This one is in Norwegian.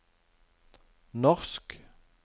norsk